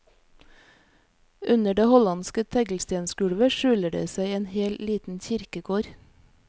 Under det hollandske teglstensgulvet skjuler det seg en hel liten kirkegård.